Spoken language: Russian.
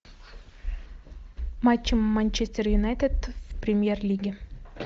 матч манчестер юнайтед в премьер лиге